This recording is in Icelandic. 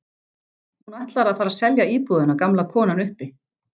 Hún ætlar að fara að selja íbúðina gamla konan uppi.